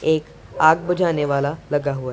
एक आग बुझाने वाला लगा हुआ है।